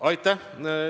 Aitäh!